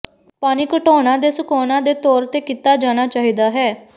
ਪਾਣੀ ਘਟਾਓਣਾ ਦੇ ਸੁਕਾਉਣ ਦੇ ਤੌਰ ਤੇ ਕੀਤਾ ਜਾਣਾ ਚਾਹੀਦਾ ਹੈ